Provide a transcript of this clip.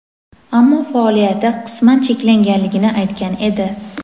ammo faoliyati qisman cheklanganligini aytgan edi.